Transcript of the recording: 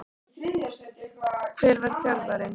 Hver var þjálfarinn?